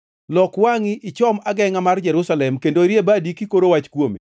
Lok wangʼi ochom agengʼa mar Jerusalem kendo irie badi kikoro wach kuome.